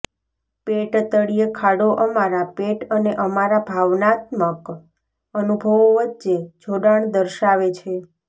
પેટ તળિયે ખાડો અમારા પેટ અને અમારા ભાવનાત્મક અનુભવો વચ્ચે જોડાણ દર્શાવે છે